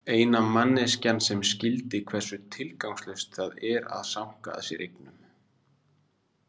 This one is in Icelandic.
Eina manneskjan sem skildi hversu tilgangslaust það er að sanka að sér eignum.